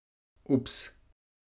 Ups!